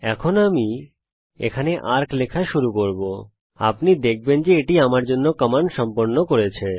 এখন আমি এখানে এআরসি লেখা শুরু করব আপনি লক্ষ্য করবেন যে এটি আমার জন্য কমান্ড সম্পন্ন করেছে